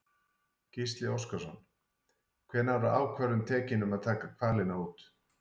Gísli Óskarsson: Hvenær var ákvörðun tekin um að taka hvalina út?